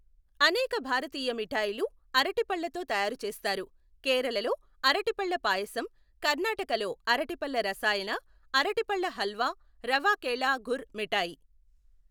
అనేక భారతీయ మిఠాయిలు అరటిపళ్ళతో తయారు చేస్తారు. కేరళలో అరటిపళ్ళ పాయసం, కర్ణాటకలో అరటిపళ్ళ రసాయన, అరటిపళ్ళ హల్వా, రవా కేలా గుర్ మిఠాయి.